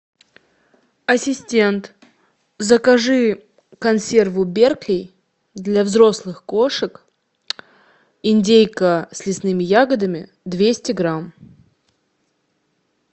ассистент закажи консерву беркли для взрослых кошек индейка с лесными ягодами двести грамм